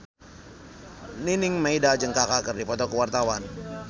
Nining Meida jeung Kaka keur dipoto ku wartawan